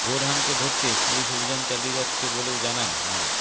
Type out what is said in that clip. বোরহানকে ধরতে পুলিশ অভিযান চালিয়ে যাচ্ছে বলেও জানান মো